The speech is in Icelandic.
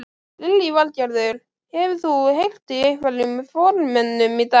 Lillý Valgerður: Hefur þú heyrt í einhverjum formönnum í dag?